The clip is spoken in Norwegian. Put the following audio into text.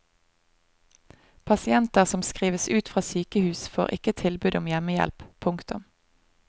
Pasienter som skrives ut fra sykehus får ikke tilbud om hjemmehjelp. punktum